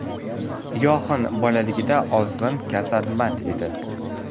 Yoxan bolaligida ozg‘in, kasalmand edi.